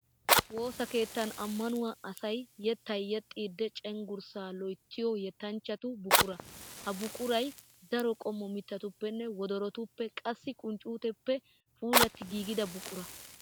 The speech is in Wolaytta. Woosa keettan ammanuwaa asayi yettaa yexxiiddi cenggurssa loyittiyoo yettanchchatu buquraa. Ha buqurayi daro qommo mittatuppenne wodorotuppe qassikka qunccuutetuppe puulatti giigida buquraa.